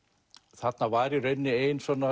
þarna var í rauninni ein